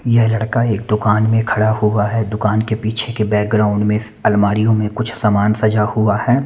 यह लड़का एक दुकान में खड़ा हुआ है दुकान के पीछे के बैकग्राउंड में अलमारीयो में कुछ सामान सजा हुआ है।